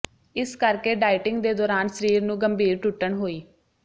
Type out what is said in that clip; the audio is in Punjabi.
ਇਸ ਕਰਕੇ ਡਾਇਟਿੰਗ ਦੇ ਦੌਰਾਨ ਸਰੀਰ ਨੂੰ ਗੰਭੀਰ ਟੁੱਟਣ ਹੋਈ